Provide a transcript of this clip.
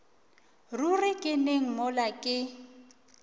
ruri ke neng mola ke